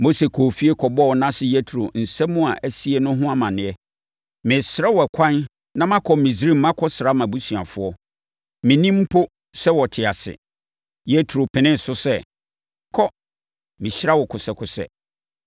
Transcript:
Mose kɔɔ efie kɔbɔɔ nʼase Yetro nsɛm a asie no ho amanneɛ. “Mɛsrɛ wo ɛkwan na makɔ Misraim makɔsra mʼabusuafoɔ. Mennim mpo sɛ, wɔte ase.” Yetro penee so sɛ, “Kɔ. Mehyira wo kosɛkosɛ.”